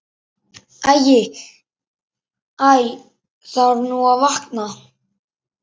Æ þarf nú að vakna.